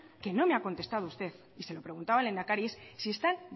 que no me ha contestado usted y se lo preguntaba al lehendakari es si están